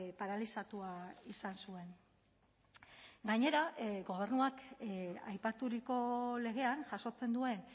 paralizatua izan zuen gainera gobernuak aipaturiko legean jasotzen duen